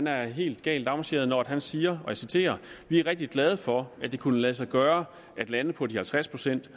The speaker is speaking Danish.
er helt galt afmarcheret når han siger og jeg citerer vi er rigtig glade for at det kunne lade sig gøre at lande på de halvtreds procent